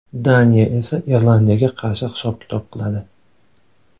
Daniya esa Irlandiyaga qarshi hisob-kitob qiladi.